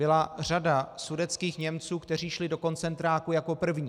Byla řada sudetských Němců, kteří šli do koncentráků jako první.